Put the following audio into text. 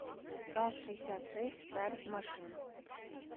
ка шестьдесят шесть царь машин